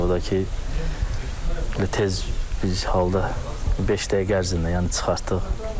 O da ki, tez biz halda beş dəqiqə ərzində yəni çıxartdıq.